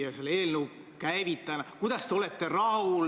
Kui ma ei eksi, algab see rida Edgar Savisaarega ja lõpeb Taavi Rõivasega.